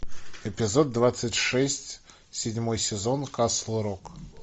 эпизод двадцать шесть седьмой сезон касл рок